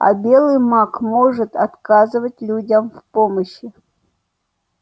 а белый маг может отказывать людям в помощи